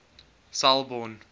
selborne